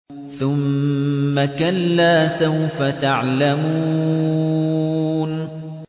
ثُمَّ كَلَّا سَوْفَ تَعْلَمُونَ